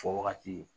Fɔ wagati